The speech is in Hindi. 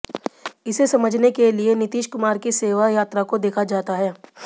इसे समझने के लिए नीतीश कुमार की सेवा यात्रा को देखा जाता है